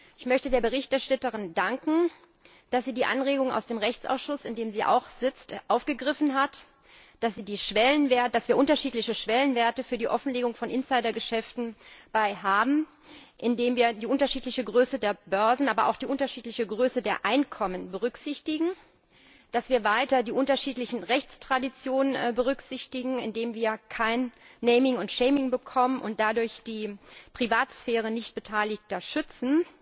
Ich möchte der Berichterstatterin danken, dass sie die Anregungen aus dem Rechtsausschuss in dem sie auch sitzt aufgegriffen hat dass wir unterschiedliche Schwellenwerte für die Offenlegung von Insidergeschäften haben, indem wir die unterschiedliche Größe der Börsen aber auch die unterschiedliche Größe der Einkommen berücksichtigen, dass wir weiter die unterschiedlichen Rechtstraditionen berücksichtigen, indem wir kein naming and shaming bekommen und dadurch die Privatsphäre Nichtbeteiligter schützen.